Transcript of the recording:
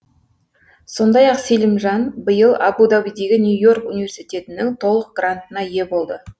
сондай ақ селимжан биыл абу дабидегі нью и орк университетінің толық грантына ие болды